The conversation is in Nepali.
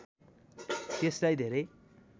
त्यसलाई धेरै